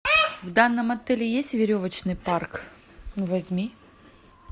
в данном отеле есть веревочный парк возьми